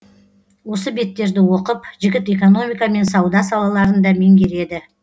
осы беттерді оқып жігіт экономика мен сауда салаларын да меңгереді